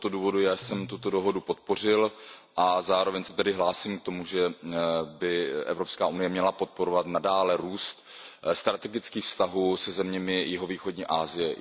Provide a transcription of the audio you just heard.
Z tohoto důvodu já jsem tuto dohodu podpořil a zároveň se tedy hlásím k tomu, že by Evropská unie měla nadále podporovat růst strategických vztahů se zeměmi jihovýchodní Asie.